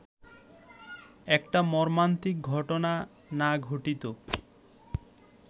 একটা মর্মান্তিক ঘটনা না ঘটিত